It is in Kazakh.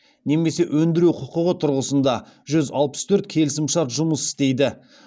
немесе өндіру құқығы тұрғысында жүз алпыс төрт келісім шарт жұмыс істейді